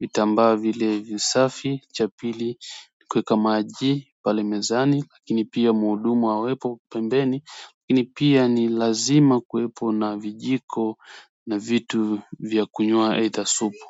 Vitambaa vile visafi, cha pili kuweka maji pale mezani lakini pia muhudumu awepo pembeni ili pia ni lazima kuwepo na vijiko na vitu vya kunywea ee ta supu.